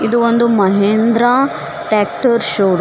ಒಂದು Mahindra tractor show --